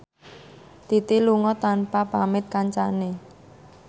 Titi lunga tanpa pamit kancane